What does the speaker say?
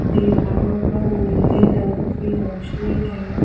दीवारों पर नीले रंग की रोशनी है।